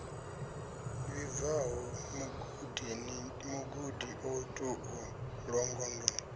vhibvaho mugudi o tou longondo